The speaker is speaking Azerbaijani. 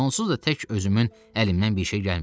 Onsuz da tək özümün əlimdən bir şey gəlmir.